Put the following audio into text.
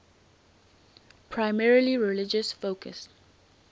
primarily religious focus